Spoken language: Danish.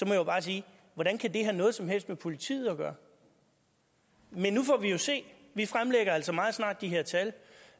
jeg jo bare sige hvordan kan det have noget som helst med politiet at gøre men nu får vi jo se vi fremlægger altså meget snart de her tal